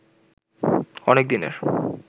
অনেক দিনের